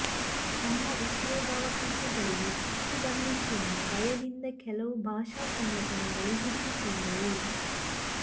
ತಮ್ಮ ಉದ್ಯೋಗಾವಕಾಶಗಳಿಗೆ ಕುತ್ತು ಬಂದೀತೆಂಬ ಭಯದಿಂದ ಕೆಲವು ಭಾಷಾ ಸಂಘಟನೆಗಳು ಹುಟ್ಟಿಕೊಂಡವು